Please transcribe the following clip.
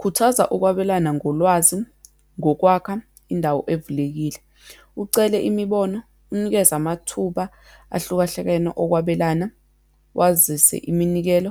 Khuthaza ukwabelana ngolwazi, ngokwakha indawo evulekile, ucele imibono, unikeze amathuba ahlukahlukene okwabelana, wazise iminikelo,